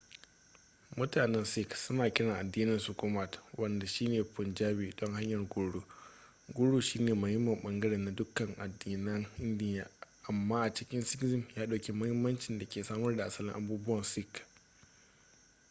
mutanen sikh suna kiran addininsu gurmat wanda shine punjabi don hanyar guru guru shine muhimmin bangare na dukkanin addinan indiya amma a cikin sikhism ya ɗauki mahimmancin da ke samar da asalin abubuwan sikh